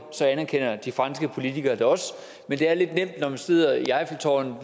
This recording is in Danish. anerkender de franske politikere det også men det er lidt nemt når man sidder i eiffeltårnet